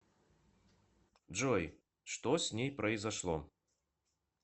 джой что с ней произошло